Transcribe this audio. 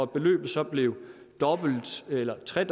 beløbet så blev dobbelt eller tre